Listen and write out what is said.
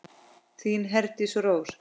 Þín Herdís Rós.